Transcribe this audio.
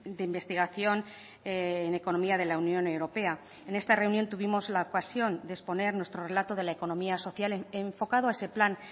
de investigación en economía de la unión europea en esta reunión tuvimos la ocasión de exponer nuestro relato de la economía social enfocado a ese plan